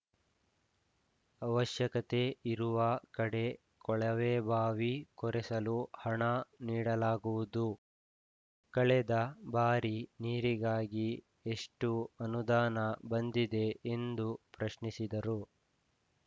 ಅವಶ್ಯಕತೆ ಇರುವ ಕಡೆ ಕೊಳವೆಬಾವಿ ಕೊರೆಸಲು ಹಣ ನೀಡಲಾಗುವುದು ಕಳೆದ ಬಾರಿ ನೀರಿಗಾಗಿ ಎಷ್ಟುಅನುದಾನ ಬಂದಿದೆ ಎಂದು ಪ್ರಶ್ನಿಸಿದರು